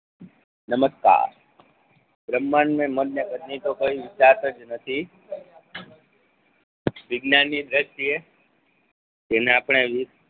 નમષ્કાર બ્રહ્માંડ કોઇ નથી તેની વિજ્ઞાની દ્રષ્ટિ એ જેને આપણે યુગ